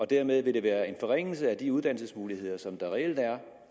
dermed vil være en forringelse af de uddannelsesmuligheder som der reelt er